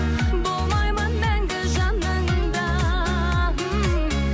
болмаймын мәңгі жаныңда